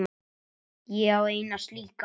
Ég á eina slíka.